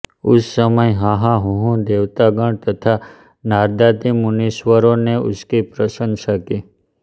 उस समय हाहा हूहू देवतागण तथा नारदादि मुनीश्वरों ने उसकी प्रशंसा की